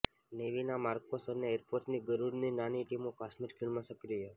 નેવીના MARCOS અને એરફોર્સની ગરુડની નાની ટીમો કાશ્મીર ખીણમાં સક્રિય